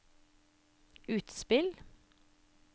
utspill